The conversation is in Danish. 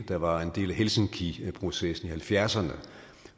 der var en del af helsinkiprocessen i halvfjerdserne og